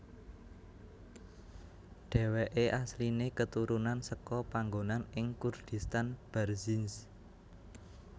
Dheweke asline keturunan seka panggonan ing Kurdistan Barzinj